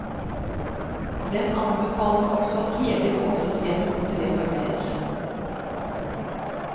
Den anbefalte også at hele lovsystemet måtte reformeres.